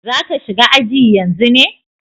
Za ka shiga aji yanzu ne?